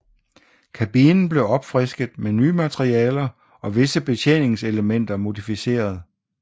Kabinen blev opfrisket med nye materialer og visse betjeningselementer modificeret